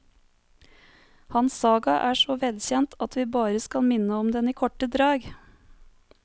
Hans saga er så velkjent at vi bare skal minne om den i korte drag.